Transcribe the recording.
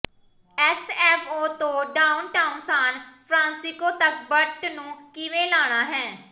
SFO ਤੋਂ downtown San Francisco ਤੱਕ BART ਨੂੰ ਕਿਵੇਂ ਲੈਣਾ ਹੈ